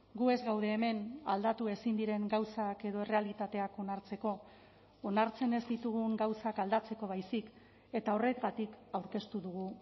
gu ez gaude hemen aldatu ezin diren gauzak edo errealitateak onartzeko onartzen ez ditugun gauzak aldatzeko baizik eta horregatik aurkeztu dugu